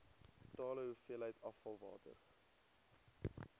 totale hoeveelheid afvalwater